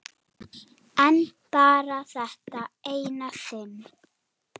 En bara þetta eina sinn.